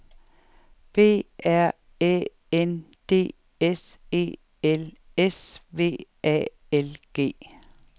B R Æ N D S E L S V A L G